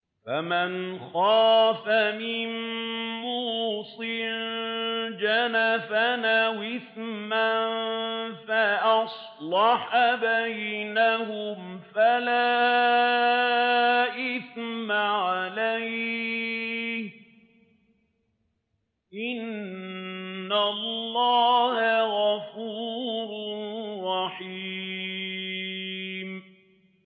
فَمَنْ خَافَ مِن مُّوصٍ جَنَفًا أَوْ إِثْمًا فَأَصْلَحَ بَيْنَهُمْ فَلَا إِثْمَ عَلَيْهِ ۚ إِنَّ اللَّهَ غَفُورٌ رَّحِيمٌ